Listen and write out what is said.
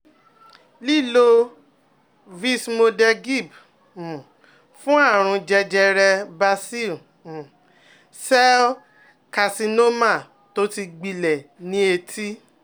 Lílo vismodegib um fún àrùn jẹjẹrẹ Basil um cell carcinoma tó ti gbilẹ̀ ní etí